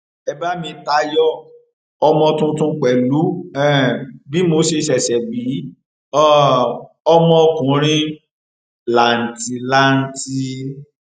ẹ bá mi tayọ ọmọ tuntun pẹlú um bí mo ṣe ṣẹṣẹ bí um ọmọkùnrin làǹtìlanti